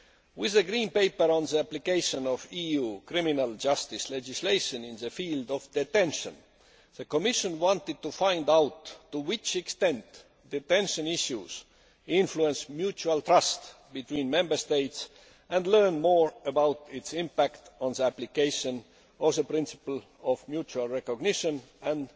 With the Green Paper on the application of EU criminal justice legislation in the field of detention, the Commission wanted to find out to what extent detention issues influence mutual trust between Member States and learn more about its impact on the application of the principle of mutual recognition and